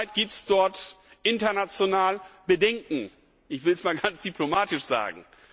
Zurzeit gibt es dort international Bedenken ich will es einmal ganz diplomatisch sagen.